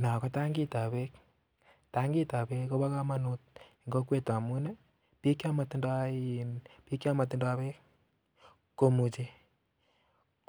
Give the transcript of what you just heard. No ko tankitap beek. Tankitap beek kopo komonut eng kokwet amun, biik chomotindoi um chomotindoi beek komuchi